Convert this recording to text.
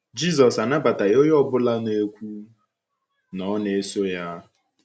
Jizọs anabataghị onye ọ bụla na -ekwu na ọ na -eso ya.